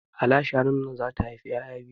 Hala shanun nan zata haifi ƴaƴa biyu